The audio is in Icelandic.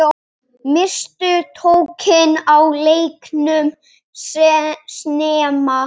Misstu tökin á leiknum snemma.